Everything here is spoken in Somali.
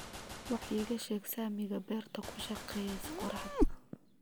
wax iiga sheeg saamiga beerta ku shaqeeya qoraxda